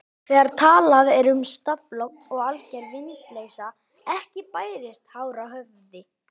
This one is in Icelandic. Þegar talað er um stafalogn er alger vindleysa, ekki bærist hár á höfði.